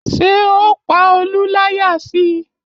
Ṣé o pa Olú láyà si?